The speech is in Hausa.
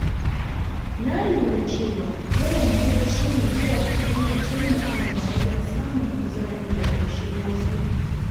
Na lura cewa yawan bacci mai kyau yana taimakawa wajen samun kuzari da ƙoshin lafiya.